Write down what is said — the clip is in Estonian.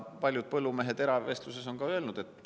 Paljud põllumehed on eravestluses seda ka öelnud.